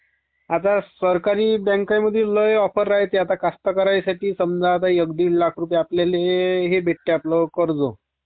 आता सरकारी बॅकमध्ये लय ऑफर .आता की समजा आता एक डीड लाख रुपये आपल्याल्ये हे भेटते..ते आपल्यो कर्ज